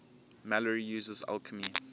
malory uses alchemy